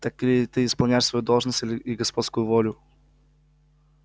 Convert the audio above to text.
так ли исполняешь ты свою должность и господскую волю